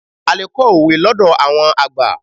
A lè kọ́ òwe lọ́dọ̀ àwọn àgbà.